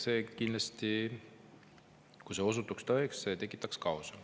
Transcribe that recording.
See kindlasti, kui see osutuks tõeks, tekitaks kaose.